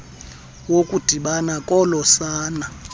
wokudibana kolo sana